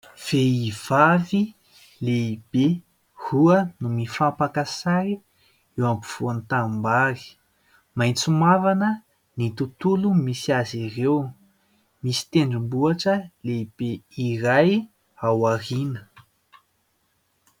Vehivavy lehibe roa mifampaka sary eo afovoan'ny tanimbary. Maitso mavana ny tontolo misy azy ireo. Misy tendrombohitra lehibe iray ao aoriana.